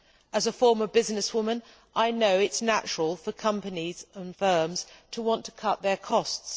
As a former businesswoman I know it is natural for companies and firms to want to cut their costs.